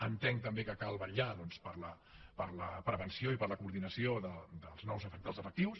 entenc també que cal vetllar doncs per la prevenció i per la coordinació dels efectius